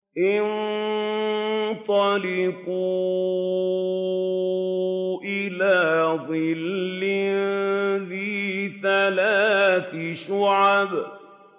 انطَلِقُوا إِلَىٰ ظِلٍّ ذِي ثَلَاثِ شُعَبٍ